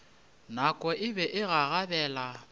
nako e be e gagabela